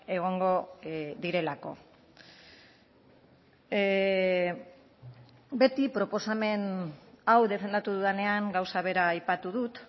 egongo direlako beti proposamen hau defendatu dudanean gauza bera aipatu dut